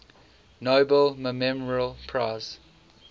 nobel memorial prize